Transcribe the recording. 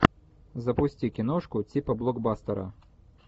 запусти киношку типа блокбастера